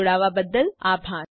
જોડાવા બદ્દલ આભાર